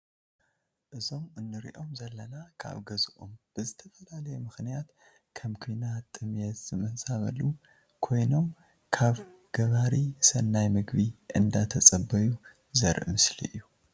እዞም ንርኦም ዘለና ካብ ገዝኦም ብዝተፈላለየ ምክንያት ከም ኩናት ጥምየት ዝተማዛበሉ ኮይኑም ካብ ገባሪ ሰናይ ምግቢ እንዳተፀበዩ ዘርኢ ምስሊ እዩ።